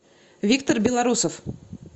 виктор белорусов